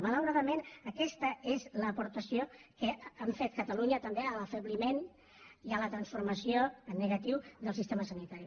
malauradament aquesta és l’aportació que hem fet catalunya també a l’afebliment i a la transformació en negatiu del sistema sanitari